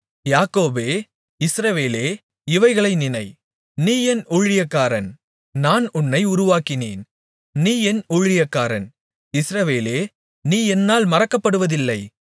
யாக்கோபே இஸ்ரவேலே இவைகளை நினை நீ என் ஊழியக்காரன் நான் உன்னை உருவாக்கினேன் நீ என் ஊழியக்காரன் இஸ்ரவேலே நீ என்னால் மறக்கப்படுவதில்லை